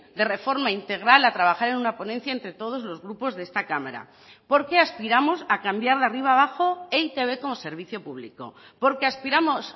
de reforma integral a trabajar en una ponencia entre todos los grupos de esta cámara porque aspiramos a cambiar de arriba abajo e i te be como servicio público porque aspiramos